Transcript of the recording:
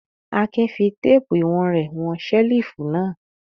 Akin fi téépù ìwọ̀n rẹ̀ wọn ṣẹ́lífù náà.